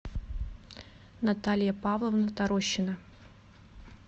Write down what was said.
наталья павловна торощина